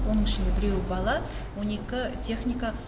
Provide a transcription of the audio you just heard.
оның ішінде біреуі бала он екі техниканың